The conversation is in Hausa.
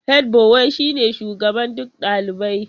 Hedbuwai shine shugaban duk dalibai.